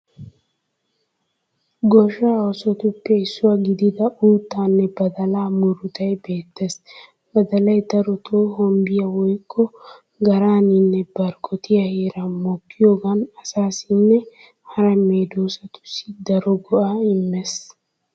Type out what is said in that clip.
Goshshaa oosotuppe issuwa gidida uuttaanne badalaaa murutay beettees. Badalay darotoo hombbiya woykko garaaninne barggottiya heeran mokkiyogaan asaassinne hara medoosatussi daro go'aa immees.